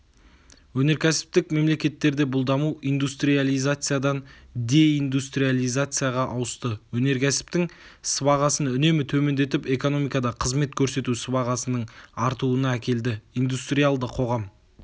өнеркәсіптік мемлекеттерде бұл даму индустриализациядан деиндустриализацияға ауысты өнеркәсіптің сыбағасын үнемі төмендетіп экономикада қызмет көрсету сыбағасының артуына әкелді индустриалды қоғам